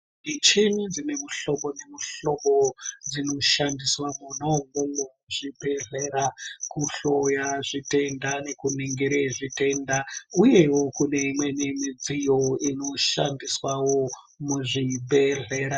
Micheni dzine muhlobo nemihlobo dzinoshandiswa mwona imwomwo muzvibhedhlera kuhloya zvitenda nekuningire zvitenda uyewo kune imweni midziyo inoshandiswa muzvibhedhlera.